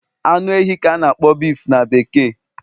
Anu ehi ka a na-akpọ beef na bekee